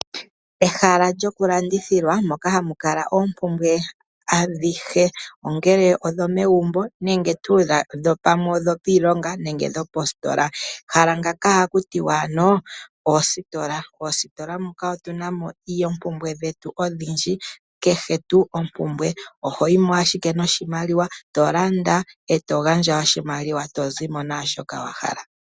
Ehala lyokulandithilwa moka hamu kala oompumbwe adhihe ongele odho megumbo, dhopiilonga nenge dhopositola omahala ngaka ohagiithanwa oositola nohatu adhamo ompumbwe dhetu odhindji, kehe tu oompumbwe, oho yimo ashike noshimaliwa tolanda etozimo naashoka wahala.